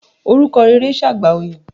Orúkọ rere ṣe àgbà oyè.